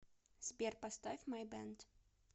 сбер поставь май бэнд